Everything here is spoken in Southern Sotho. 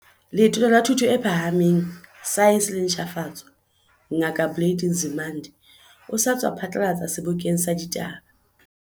Letona la Thuto e Phahameng, Saense le Ntjhafatso, Ngaka Blade Nzimande, o sa tswa phatlalatsa sebokeng sa ditaba.